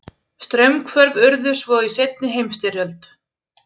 Straumhvörf urðu svo í seinni heimsstyrjöld.